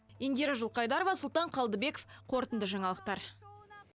индира жылқайдарова сұлтан қалдыбеков қорытынды жаңалықтар